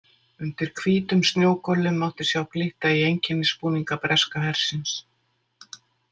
Undir hvítum snjógöllum mátti sjá glitta í einkennisbúninga breska hersins.